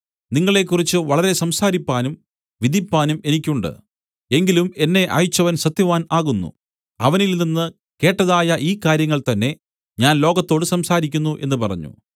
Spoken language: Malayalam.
നിങ്ങളെക്കുറിച്ച് വളരെ സംസാരിപ്പാനും വിധിപ്പാനും എനിക്ക് ഉണ്ട് എങ്കിലും എന്നെ അയച്ചവൻ സത്യവാൻ ആകുന്നു അവനിൽനിന്ന് കേട്ടതായ ഈ കാര്യങ്ങൾ തന്നേ ഞാൻ ലോകത്തോടു സംസാരിക്കുന്നു എന്നു പറഞ്ഞു